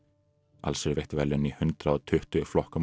alls eru veitt verðlaun í hundrað og tuttugu flokkum á